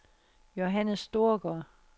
Johannes Storgaard